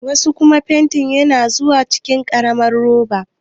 Wasu fantin kuma na zuwa cikin ƙaramar roba.